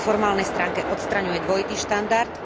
Aj po formálnej stránke odstraňuje dvojitý štandard.